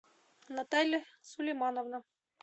наталья сулеймановна